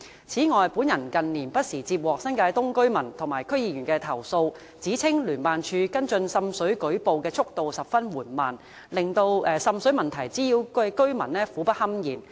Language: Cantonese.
此外，本人近年不時接獲新界東居民和區議員的投訴，指稱聯辦處跟進滲水舉報的速度十分緩慢，令受滲水問題滋擾的居民苦不堪言。